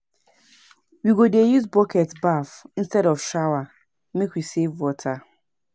We go dey use bucket baff instead of shower, make we save water.